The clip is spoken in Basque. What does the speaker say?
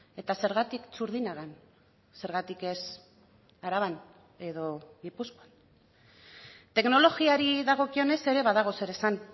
eta zergatik txurdinagan zergatik ez araban edo gipuzkoan teknologiari dagokionez ere badago zer esan